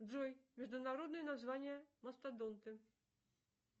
джой международное название мастодонты